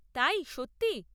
তাই, সত্যি?